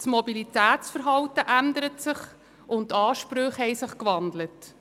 Das Mobilitätsverhalten und die Ansprüche haben sich gewandelt.